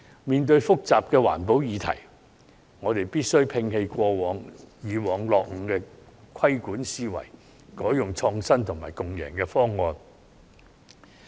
面對複雜的環保議題，我們必須摒棄以往落伍的規管思維，採用創新及共贏的方案。